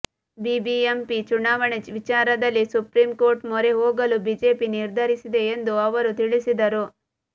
BBMP ಚುನಾವಣೆ ವಿಚಾರದಲ್ಲಿ supreme court ಮೊರೆ ಹೋಗಲು ಬಿಜೆಪಿ ನಿರ್ಧರಿಸಿದೆ ಎಂದು ಅವರು ತಿಳಿಸಿದರು